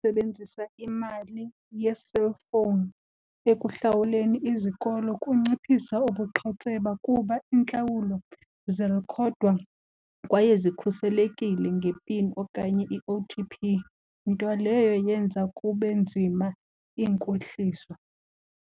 Sebenzisa imali yee-cellphone ekuhlawuleni izikolo kunciphisa ubuqhetseba kuba iintlawulo zirikhodwa kwaye zikhuselekile ngepini okanye i-O_T_P, nto leyo yenza kube nzima inkohliso.